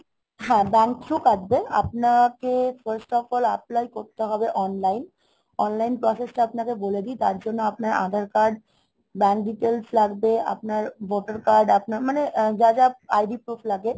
হ্যাঁ bank through কাটবে, আপনাকে first of all apply করতে হবে online, online process টা আপনাকে বলে দিই তার জন্য আপনার aadhar card, bank details লাগবে. আপনার ভোটার card আপনার মানে যা যা ID proof লাগে